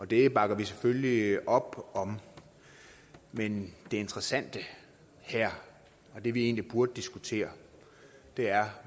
det bakker vi selvfølgelig op om men det interessante her og det vi egentlig burde diskutere er